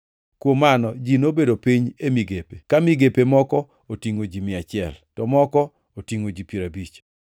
Kuom mano ji nobedo piny e migepe, ka migepe moko otingʼo ji mia achiel to moko otingʼo ji piero abich.